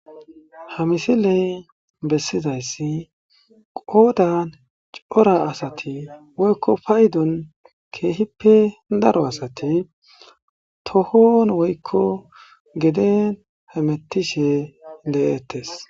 Ha misiley bessizayssi qoodan cora asati woykko paydon keehippe daro asati tohon woykko geden hemettishe le7eettes.